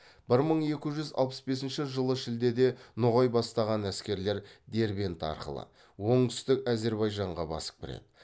бір мың екі жүз алпыс бесінші жылы шілдеде ноғай бастаған әскерлер дербент арқылы оңтүстік әзербайжанға басып кіреді